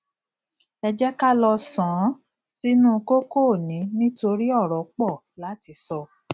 ẹ jẹ ká lọ sànán sínú kókó òní nítorí ọrọ pọ láti sọ